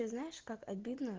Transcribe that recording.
и знаешь как обидно